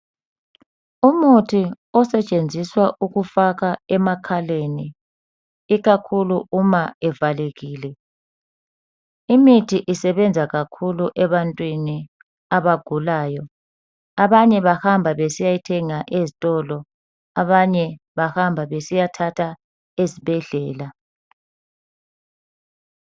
Umuthi osetshenziswa ukufakwa emakhaleni. Ikakhulu uma evalekile. Imithi isebenza kakhulu, ebantwini abagulayo. Abanye bahamba besiyayithenga, ezitolo. Abanye bahamba besiyathatha ezibhedlela.